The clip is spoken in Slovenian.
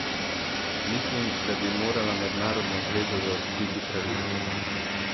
Mislim, da bi morala mednarodna zveza zaostriti pravila.